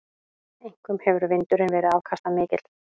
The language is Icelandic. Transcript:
Einkum hefur vindurinn verið afkastamikill.